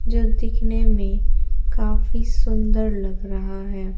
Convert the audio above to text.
जो दिखने में काफी सुंदर लग रहा है।